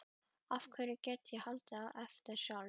Hverju get ég haldið eftir sjálfur?